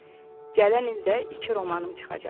Gələn il də iki romanım çıxacaq.